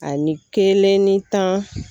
Ani kelen ni tan